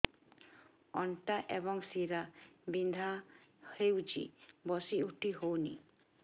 ଅଣ୍ଟା ଏବଂ ଶୀରା ବିନ୍ଧା ହେଉଛି ବସି ଉଠି ହଉନି